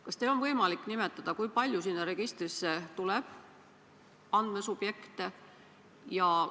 Kas teil on võimalik nimetada, kui palju tuleb sinna registrisse andmesubjekte?